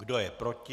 Kdo je proti?